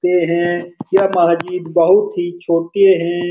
हैं यह मह्जीब बहुत ही छोटे हैं --